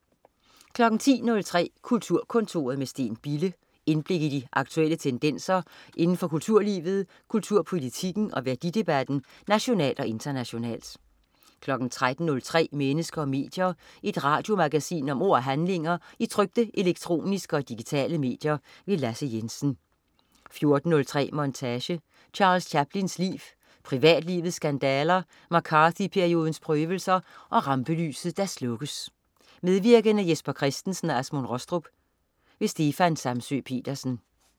10.03 Kulturkontoret med Steen Bille. Indblik i de aktuelle tendenser indenfor kulturlivet, kulturpolitikken og værdidebatten nationalt og internationalt 13.03 Mennesker og medier. Et radiomagasin om ord og handlinger i trykte, elektroniske og digitale medier. Lasse Jensen 14.03 Montage: Charles Chaplins liv. Privatlivets skandaler, McCarthy-periodens prøvelser og rampelyset der slukkes. Medvirkende: Jesper Christensen og Asmund Rostrup. Stefan Samsøe-Petersen